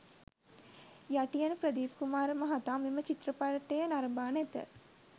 යටියන ප්‍රදීප් කුමාර මහතා මෙම චිත්‍රපටය නරඹා නැත.